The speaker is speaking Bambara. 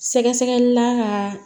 Sɛgɛsɛgɛlila ka